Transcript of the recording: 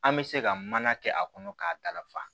An bɛ se ka mana kɛ a kɔnɔ k'a dafa